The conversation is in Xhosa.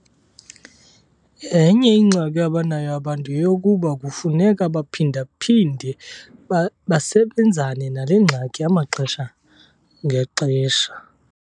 Enye ingxaki abanayo abantu yeyokokuba kufuneka baphinda-phinde besebenzana nale ngxaki amaxesha ngaxesha.